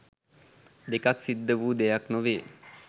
දෙකක් සිද්ධ වූ දෙයක් නොවේ.